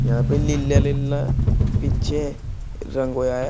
यहां पे लिल्ला लिल्ला पीछे रंग होया है।